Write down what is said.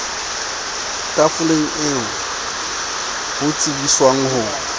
tafoleng eo ho tsebiswang ho